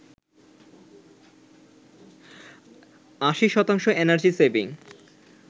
৮০ শতাংশ energy saving